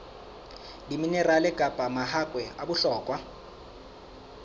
diminerale kapa mahakwe a bohlokwa